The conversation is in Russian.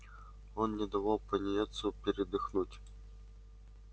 он не давал пониетсу передохнуть